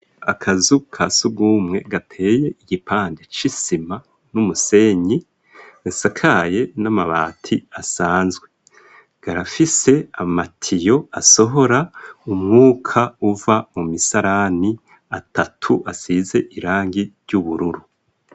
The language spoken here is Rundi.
Akazu ka sugumwe gateye igipande c'isima n'umusenyi gasakaye n'amabati asanzwe karafise amatiyo asohora umwuka uva mu misarani, atatu asize irangi ry'ubururu.